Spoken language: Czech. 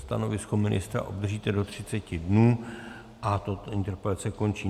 Stanovisko ministra obdržíte do 30 dnů a tato interpelace končí.